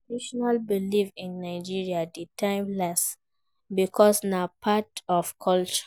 Traditional belief in Nigeria de timeless because na part our culture